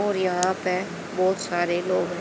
और यहां पे बहोत सारे लोग--